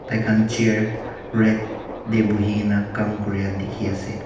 Tai khan chair red te bohe kina kam kori laga dekhi ase.